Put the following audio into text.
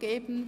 wird.